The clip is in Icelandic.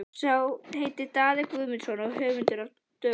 Sá heitir Daði Guðmundsson og er höfðingi úr Dölunum.